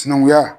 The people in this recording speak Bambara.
Sinankunya